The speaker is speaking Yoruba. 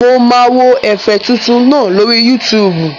Mo máa wo ẹ̀fẹ̀ tuntun náà lórí Yútùùbù